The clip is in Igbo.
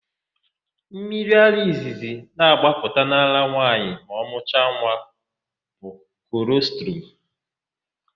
Mmiriara izizi na-agbapụta n'ara nwaanyị ma ọ mụcha nwa bụ kolọstrum.